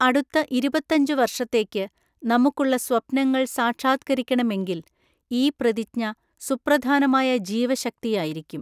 അടുത്ത ഇരുപത്തഞ്ചു വര്ഷത്തേക്ക് നമുക്കുള്ള സ്വപ്നങ്ങള്‍ സാക്ഷാത്കരിക്കണമെങ്കില്‍ ഈ പ്രതിജ്ഞ സുപ്രധാനമായ ജീവശക്തിയായിരിക്കും.